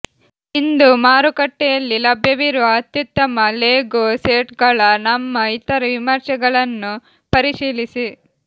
ಇಂದು ಮಾರುಕಟ್ಟೆಯಲ್ಲಿ ಲಭ್ಯವಿರುವ ಅತ್ಯುತ್ತಮ ಲೆಗೋ ಸೆಟ್ಗಳ ನಮ್ಮ ಇತರ ವಿಮರ್ಶೆಗಳನ್ನು ಪರಿಶೀಲಿಸಿ